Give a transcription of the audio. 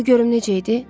Qoy görüm necə idi?